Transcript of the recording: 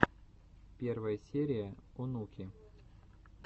первая серия онуки